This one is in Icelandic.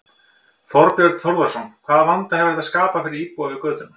Þorbjörn Þórðarson: Hvaða vanda hefur þetta skapað fyrir íbúa við götuna?